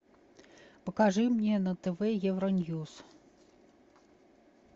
покажи мне на тв евроньюс